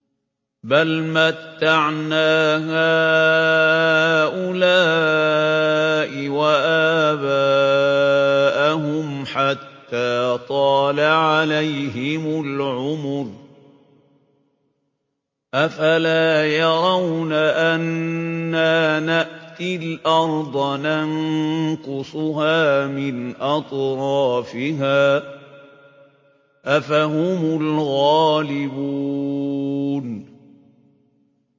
بَلْ مَتَّعْنَا هَٰؤُلَاءِ وَآبَاءَهُمْ حَتَّىٰ طَالَ عَلَيْهِمُ الْعُمُرُ ۗ أَفَلَا يَرَوْنَ أَنَّا نَأْتِي الْأَرْضَ نَنقُصُهَا مِنْ أَطْرَافِهَا ۚ أَفَهُمُ الْغَالِبُونَ